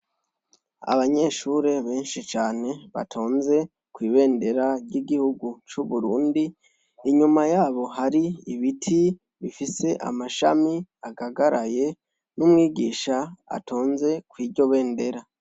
Abanyeshure benshi cane batonze kw' ibendera ry' igihugu c' Uburundi, inyuma yabo hari ibiti bifise amashami agagaraye , n' umwigisha atonze kw' iryo bendera.